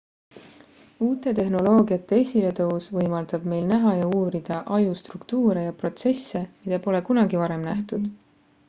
uute tehnoloogiate esiletõus võimaldab meil näha ja uurida aju struktuure ja protsesse mida pole kunagi varem nähtud